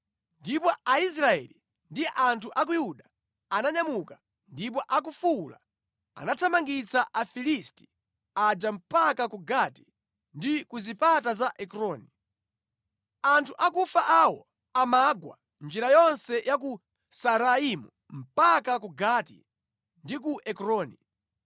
Ndipo Aisraeli ndi anthu a ku Yuda ananyamuka, ndipo akufuwula anathamangitsa Afilisti aja mpaka ku Gati ndi ku zipata za Ekroni. Anthu akufa awo amagwa njira yonse ya ku Saaraimu mpaka ku Gati ndi ku Ekroni.